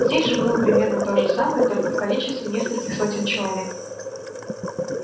здесь же было примерно то же самое только в количестве нескольких сотен человек